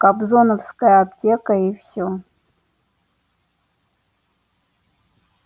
кобзоновская аптека и все